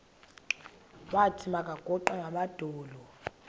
wathi makaguqe ngamadolo